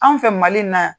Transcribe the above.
Anw fɛ mali in na yan